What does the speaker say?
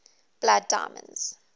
blood diamonds